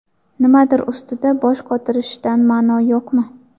Nimadir ustida bosh qotirishdan ma’no yo‘qmi?